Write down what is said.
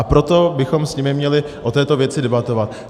A proto bychom s nimi měli o této věci debatovat.